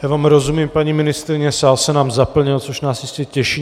Já vám rozumím, paní ministryně, sál se nám zaplnil, což nás jistě těší.